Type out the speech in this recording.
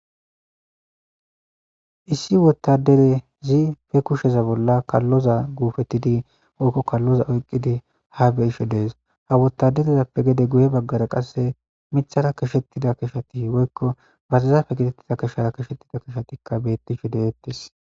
Issi wottaderezi be kusheza bolla kalloza guupettidi woykko kalloza oyqqidi ha be isho dees ha wotaderezappe gede guye baggara qasse mithara kishettida kishati woykko barizape gidettida kishara kishettida kishatikka bettishi deettes